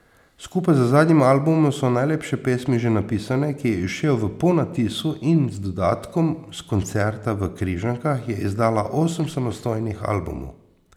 Skupaj z zadnjim albumom So najlepše pesmi že napisane, ki je izšel v ponatisu in z dodatkom s koncerta v Križankah, je izdala osem samostojnih albumov.